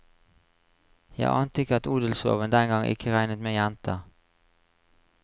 Jeg ante ikke at odelsloven den gang ikke regnet med jenter.